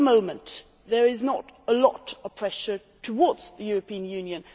For the moment, there is not a lot of pressure on the European Union.